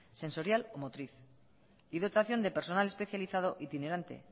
sensorial o motriz y dotación de personal especializado itinerante